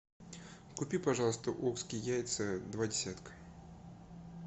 купи пожалуйста окские яйца два десятка